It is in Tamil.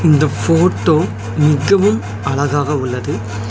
இந்த ஃபோட்டோ மிகவும் அழகாக உள்ளது.